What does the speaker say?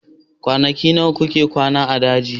Kwanaki nawa kuka kwana a daji?